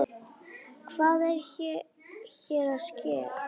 Hvað er hér að ske!?